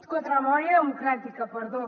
contra la memòria democràtica perdó